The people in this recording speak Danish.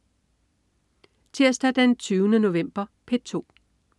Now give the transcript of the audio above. Tirsdag den 20. november - P2: